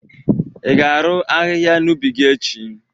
i ga-arụ ahịhịa n'ubi gi echi?